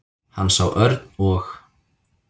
Hann sá Örn og